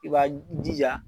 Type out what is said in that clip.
I b'a jija